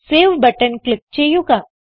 save button click ചെയ്യുക